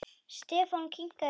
Stefán kinkaði kolli.